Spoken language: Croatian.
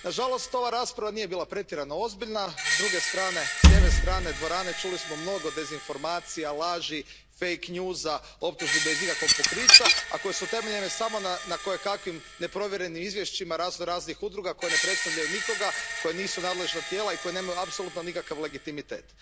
Na žalost ova rasprava nije bila pretjerano ozbiljna, s druge strane, s ljeve strane dvorane čuli smo mnogo dezinformacija, laži, optužbi bez ikakvog pokrića, a koje su utemeljene samo na kojekakvim neprovjerenim izvješćima raznoraznih udruga koje ne predstavljaju nikoga, koje nisu nadležna tijela i koje nemaju apsolutno nikakav legitimitet.